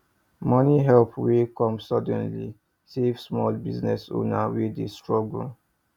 money help wey come sudden save small business owner wey dey struggle